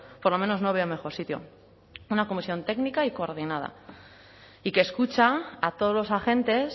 por lo menos no veo mejor sitio una comisión técnica y coordinada y que escucha a todos los agentes